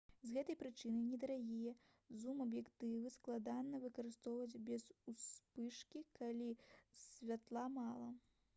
з гэтай прычыны недарагія зум-аб'ектывы складана выкарыстоўваць без успышкі калі святла мала